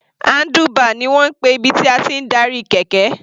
Handlebar ni wọ́n ń pè ibi tí a ti ń darí kẹ̀kẹ́.